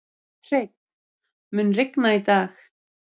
Hreinn, mun rigna í dag?